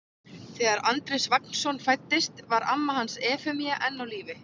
Þegar Andrés Vagnsson fæddist var amma hans Efemía enn á lífi.